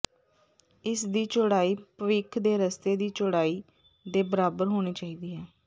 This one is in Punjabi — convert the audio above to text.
ਇਸ ਦੀ ਚੌੜਾਈ ਭਵਿੱਖ ਦੇ ਰਸਤੇ ਦੀ ਚੌੜਾਈ ਦੇ ਬਰਾਬਰ ਹੋਣੀ ਚਾਹੀਦੀ ਹੈ